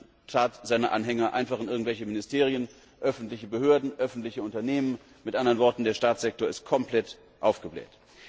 Man tat seine Anhänger einfach in irgendwelche Ministerien, öffentliche Behörden, öffentliche Unternehmen, mit anderen Worten, der Staatssektor ist komplett aufgebläht.